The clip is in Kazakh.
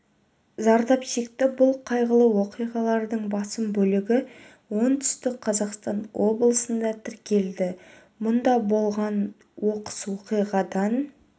зардап шекті бұл қайғылы оқиғалардың басым бөлігі оңтүстік қазақстан облысында тіркелді мұнда болған оқыс оқиғадан